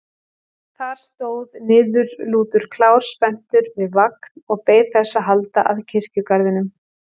Þar stóð niðurlútur klár spenntur við vagn og beið þess að halda að kirkjugarðinum.